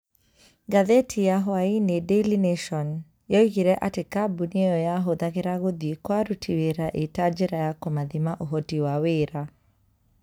Ngathĩti ya hwainĩ daily nation, yoigire atĩ kambuni ĩyo yahũthagĩra gũthiĩ kwa aruti wĩra ita njĩra ya kũmathima ũhoti wa wĩra.